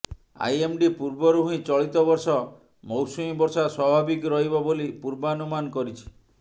IMD ପୂର୍ବରୁ ହିଁ ଚଳିତ ବର୍ଷ ମୌସୁମୀ ବର୍ଷା ସ୍ବାଭାବିକ ରହିବ ବୋଲି ପୂର୍ବାନୁମାନ କରିଛି